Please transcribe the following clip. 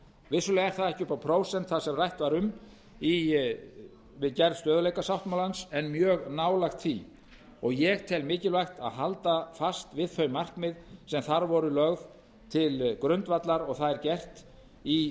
vissulega er það ekki upp á prósent það sem rætt var um við gerð stöðugleikasáttmálans en mjög nálægt því og ég tel mikilvægt að halda fast við þau markmið sem þar voru lögð til grundvallar og það er gert í